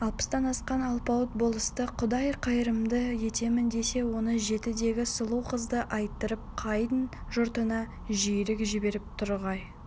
алпыстан асқан алпауыт болысты құдай қайырымды етемін десе он жетідегі сұлу қызды айттырып қайын жұртына жиірек жіберіп тұрғай